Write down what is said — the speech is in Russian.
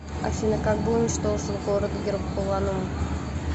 афина как был уничтожен город геркуланум